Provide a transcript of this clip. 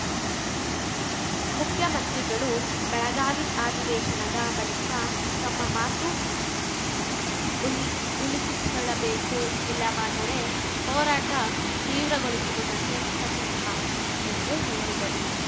ಮುಖ್ಯಮಂತ್ರಿಗಳು ಬೆಳಗಾವಿ ಅಧಿವೇಶನದ ಬಳಿಕ ತಮ್ಮ ಮಾತು ಉಳ್ ಉಳಿಸಿಕೊಳ್ಳಬೇಕು ಇಲ್ಲವಾದರೆ ಹೋರಾಟ ತೀವ್ರಗೊಳಿಸುವುದನ್ನು ಖಚಿತ ಎಂದು ಹೇಳಿದರು